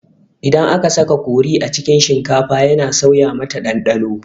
Idan aka saka kori a cikin shinkafa yana sauya mata ɗanɗano